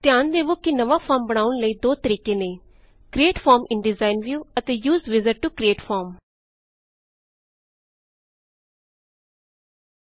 ਧਿਆਨ ਦਵੋ ਕਿ ਨਵਾ ਫੋਰਮ ਬਣਾਉਣ ਲਈ ਦੋ ਤਰੀਕੇ ਨੇ create form in design view ਅਤੇ use wizard to create form